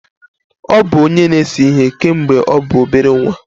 Ọ bụ onye na-ese ihe kemgbe ọ bụ obere nwa.